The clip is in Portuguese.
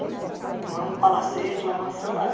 Não é um palacete, uma mansão, nada.